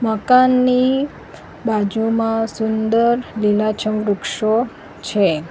મકાનની બાજુમાં સુંદર લીલાછમ વૃક્ષો છે.